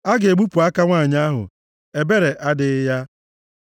a ga-egbupụ aka nwanyị ahụ. Ebere adịghị ya.